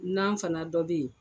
N'an fana dɔ bɛyen